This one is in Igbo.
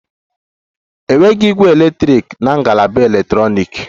Enweghị ígwè eletrik na ngalaba eletrọniki